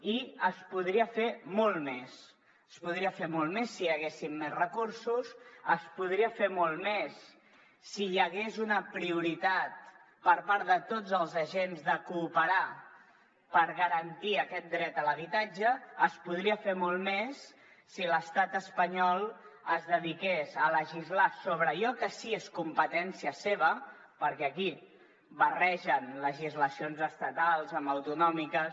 i es podria fer molt més es podria fer molt més si hi haguessin més recursos es podria fer molt més si hi hagués una prioritat per part de tots els agents de cooperar per garantir aquest dret a l’habitatge es podria fer molt més si l’estat espanyol es dediqués a legislar sobre allò que sí que és competència seva perquè aquí barregen legislacions estatals amb autonòmiques